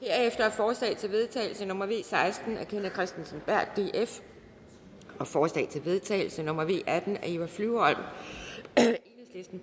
forslag til vedtagelse nummer v seksten af kenneth kristensen berth og forslag til vedtagelse nummer v atten af eva flyvholm